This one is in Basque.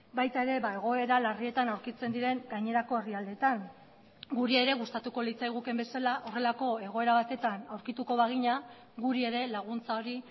baita ere egoera larrietan aurkitzen diren gainerako herrialdeetan guri ere gustatuko litzaigukeen bezala horrelako egoera batetan aurkituko bagina guri ere laguntza hori